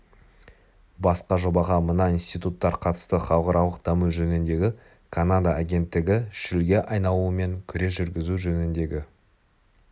басқа жобаға мына институттар қатысты халықаралық даму жөніндегі канада агенттігі шөлге айналумен күрес жүргізу жөніндегі